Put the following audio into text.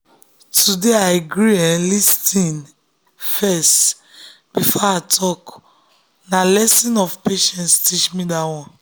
today i gree um lis ten gree um lis ten first before i talk na lesson of um patience teach me that one.